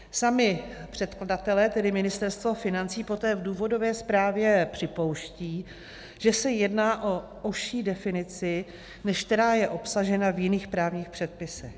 Sami předkladatelé, tedy Ministerstvo financí, poté v důvodové zprávě připouští, že se jedná o užší definici, než která je obsažena v jiných právních předpisech.